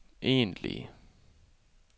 egentlige